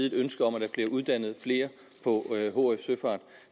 et ønske om at der bliver uddannet flere på hf søfart